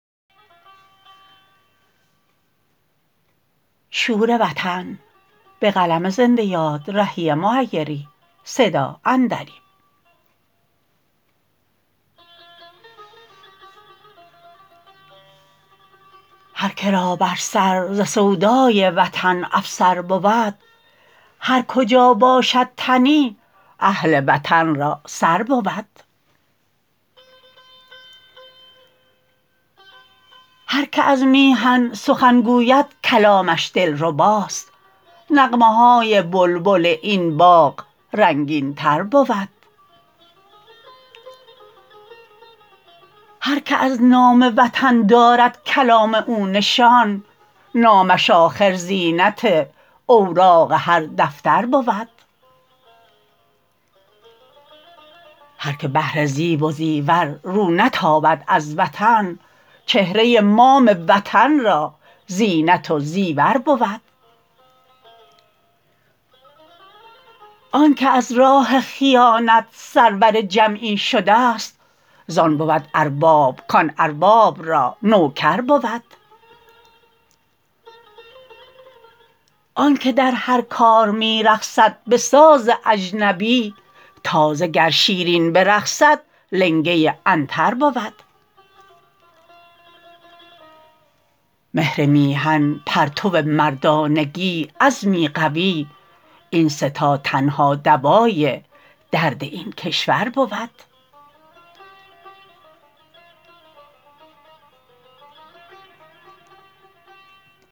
هرکه را بر سر ز سودای وطن افسر بود هرکجا باشد تنی اهل وطن را سر بود هرکه از میهن سخن گوید کلامش دلرباست نغمه های بلبل این باغ رنگین تر بود هرکه از نام وطن دارد کلام او نشان نامش آخر زینت اوراق هر دفتر بود هرکه بهر زیب و زیور رو نتابد از وطن چهره مام وطن را زینت و زیور بود آنکه از راه خیانت سرور جمعی شده است زان بود ارباب کان ارباب را نوکر بود آنکه در هر کار می رقصد به ساز اجنبی تازه گر شیرین برقصد لنگه عنتر بود مهر میهن پرتو مردانگی عزمی قوی این سه تا تنها دوای درد این کشور بود